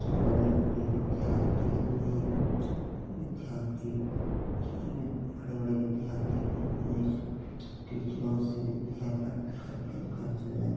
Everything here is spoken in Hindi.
बड़े-बड़े विद्यार्थी अपने विद्यार्थी बड़े-बड़े विद्यार्थी अपने इस टीचरों से विद्या प्राप्त करकर घर चले जाते --